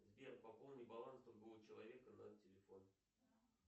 сбер пополни баланс другого человека на телефон